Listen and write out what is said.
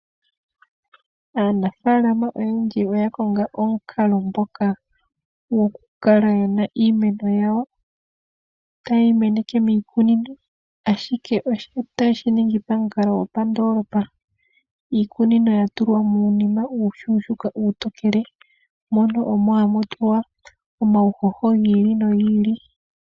Aanafaalama oyendji oya konga omukalo ngoka goku kala yena iimeno yawo ta yeyi meneke miikunino ashike ota yeshi ningi pa mukalo gopa ndoolopa . Iikunino ya tulwa muunima uushuushuka uutokele mono omo hamu tulwa omuhoho gi ili nogi ili.